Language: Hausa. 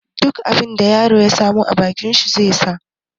Duk abin da yaron ya samu a bakin shi zai sa.